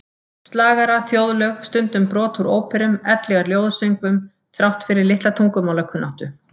Slagara, þjóðlög, stundum brot úr óperum ellegar ljóðasöngvum, þrátt fyrir litla tungumálakunnáttu.